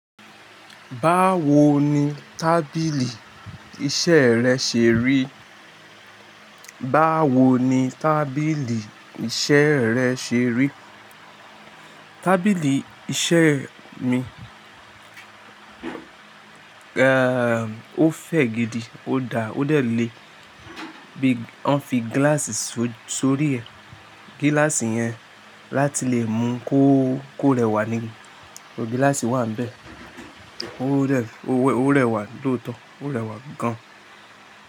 Báwo ni tábìlì iṣẹ́ rẹ ṣe rí? Báwo ni tábìlì iṣẹ́ rẹ ṣe rí? Tábìlì iṣẹ́ mi, eh, ó fẹ̀ gidi, ó da, ó dẹ̀ ni. Bí, wọ́n fi glass sórí ẹ̀, gíláàsì yẹn láti lè mú kó, kó rẹwà níi. Gíláàsì wà n bẹ̀. Ó rẹ, ó rẹwà ntóotọ́, ó rẹwà gan-an.